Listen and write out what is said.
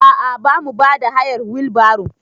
A a bamu bada hayar wil baro.